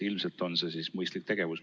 Ilmselt on see siis mõistlik tegevus.